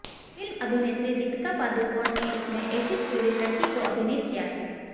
film अभिनेत्री दीपिका पादुकोण ने इसमें एसिड पीड़ित लड़की को अभिनीत किया है